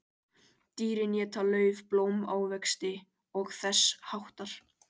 Dýrin éta lauf, blóm, ávexti og þess háttar.